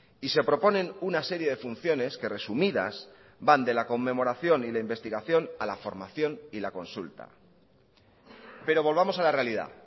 y se proponen una serie de funciones que resumidas van de la conmemoración y la investigación a la formación y la consulta pero volvamos a la realidad